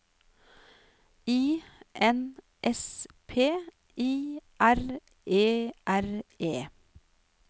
I N S P I R E R E